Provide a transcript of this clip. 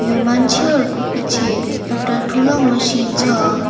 यो मान्छेहरूको पिछे एउटा ठूलो मसिन छ।